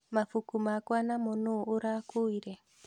Mabuku makwa namo nũũ ũrakuire?